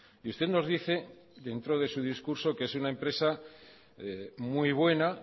y usted nos dice dentro de su discurso que es una empresa muy buena